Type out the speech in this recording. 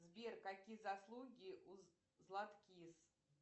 сбер какие заслуги у златкис